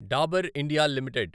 Dabur India limited